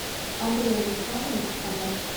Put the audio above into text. андрей александрович панов